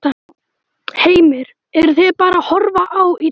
Heimir: Eruð þið bara að horfa á í dag?